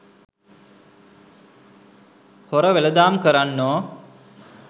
හොර වෙළෙඳාම් කරන්නෝ